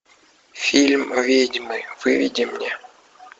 фильм ведьмы выведи мне